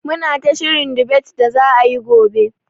Muna ta shirin dibet da za'a yi gobe.